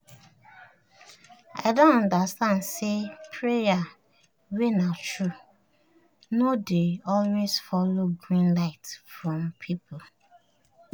i don understand say prayer wey na true no dey always follow green light from people